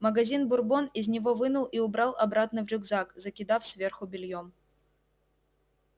магазин бурбон из него вынул и убрал обратно в рюкзак закидав сверху бельём